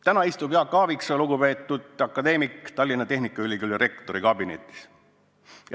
Täna istub Jaak Aaviksoo, lugupeetud akadeemik, Tallinna Tehnikaülikooli rektori kabinetis.